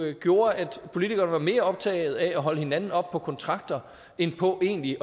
jo gjorde at politikerne var mere optaget af at holde hinanden op på kontrakter end på egentlig